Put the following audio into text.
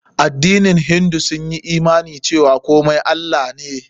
Addinin hindu sun yi imani cewa komai Allah ne.